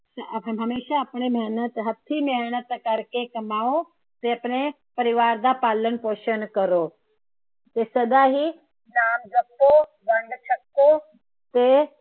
ਅਤੇ ਹਮੇਸ਼ਾ ਆਪਣੇ ਮੇਹਨਤ ਹੱਥੀ ਮੇਹਨਤ ਕਰਕੇ ਕਮਾਉ। ਤੇ ਆਪਣੇ ਪਰਿਵਾਰ ਦਾ ਪਾਲਣ ਪੋਸ਼ਣ ਕਰੋ। ਤੇ ਸਦਾ ਹੀ ਨਾਮ ਜਪੋ, ਵੰਡ ਛਕੋ ਤੇ